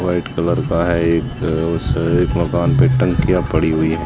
White colour का है एक उस एक मकान पे टंकियां पड़ी हुई हैं।